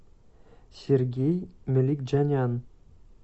сергей меликджанян